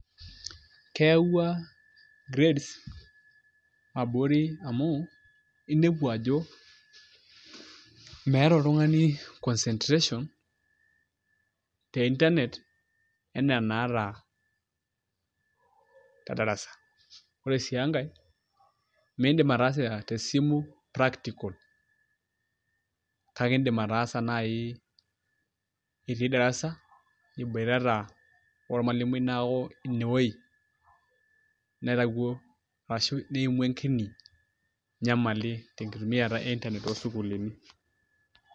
keewua grades abori amu inepu ajo meeta oltungani concentration te internet anaa enaata te darasa. ore sii enkae meidim ataasa tesimu practical. kake idim ataasa naai t itii darsa iboitata ormalaimui, neeku ine wuei naitawuo, arashu neimua enkini nyamali, te nkitumiata e inernet too sukuulini.